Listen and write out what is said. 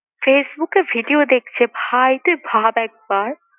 Facebook এ video দেখছে ভাই তুই ভাব একবার!